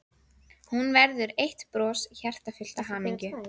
Hún verður eitt bros, hjartað fullt af hamingju.